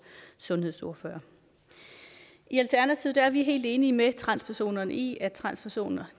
sundhedsordfører i alternativet er vi helt enige med transpersonerne i at transpersoner